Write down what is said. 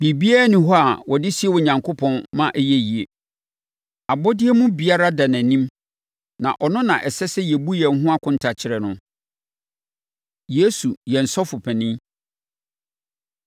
Biribiara nni hɔ a wɔde sie Onyankopɔn ma ɛyɛ yie. Abɔdeɛ mu biribiara da nʼanim na ɔno na ɛsɛ sɛ yɛbu yɛn ho akonta kyerɛ no. Yesu Yɛn Sɔfopanin